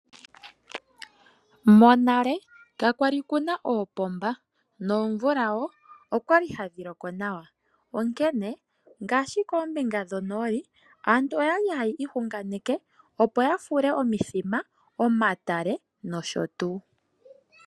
Monale ka kwali kuna oopomba, nomvula woo okwali yayi loko nawa, onkene ngaashi koombinga dhoko nooli aantu okwali haya ihunganeke opo ya fule, omithima, omatale nosho tuu.